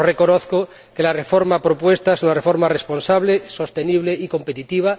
Pero reconozco que la reforma propuesta es una reforma responsable, sostenible y competitiva